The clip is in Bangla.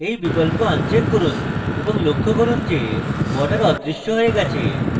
এই বিকল্প uncheck করুন এবং লক্ষ্য করুন যে borders অদৃশ্য হয়ে গেছে